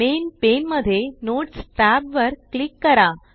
main pane मध्ये notes tab वर click करा